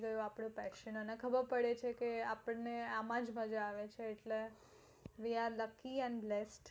આપણી passion છે જેમાં આપણે આમજ મજ્જા આવે છે we are lucky and blessed